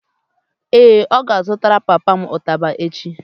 ee, ọ ga-azụtara papa m ụtaba echi